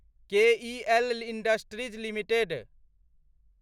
केईएल Industries limited